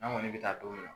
An kɔni bɛ taa don min na